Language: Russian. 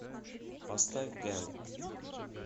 поставь гэнк